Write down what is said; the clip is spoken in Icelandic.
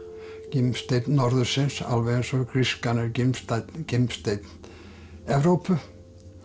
gimsteinn norðursins alveg eins og grískan er gimsteinn gimsteinn Evrópu